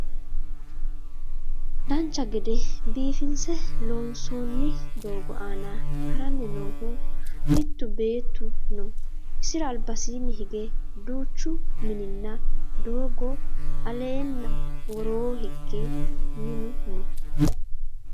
dancha gede biifinse loonsoonni doogo aana haranni noohu mittu beetu no isira albasiinni hige duucha minnanna doogo aleenna woroo hige minu no